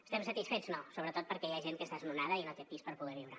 estem satisfets no sobretot perquè hi ha gent que és desnonada i no té pis per poder viure